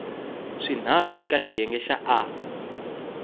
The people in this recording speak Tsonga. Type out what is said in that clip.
swinharhu eka xiyenge xa a